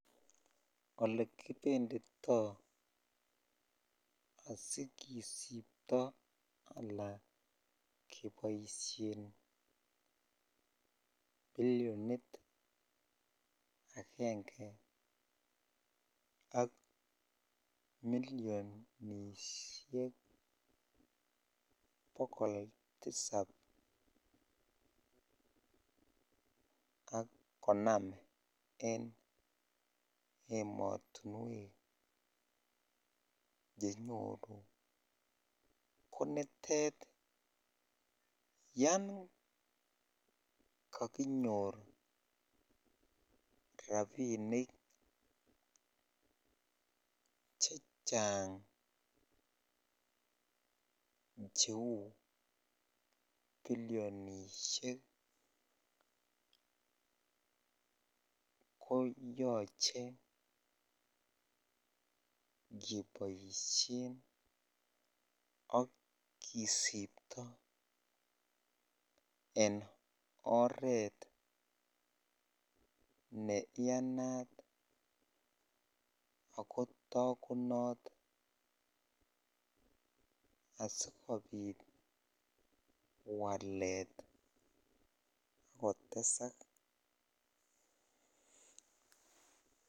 Olekibenditoi asikisipto alaa keboishen bilionit akenge ak milionishek bokol tisab ak konom en emotinwek chenyoru konitet yoon kokinyor rabinik chechang cheuu bilionishek ko yoche keboishen ak kisipto en oreet ne yanat ak ko tokunot asikobit walet ak kotesak.